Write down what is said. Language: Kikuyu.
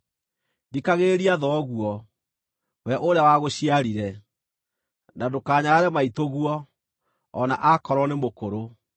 Thikagĩrĩria thoguo, we ũrĩa wagũciarire, na ndũkanyarare maitũguo, o na aakorwo nĩ mũkũrũ.